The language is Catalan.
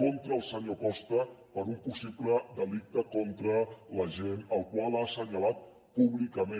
contra el senyor costa per un possible delicte contra l’agent al qual ha assenyalat públicament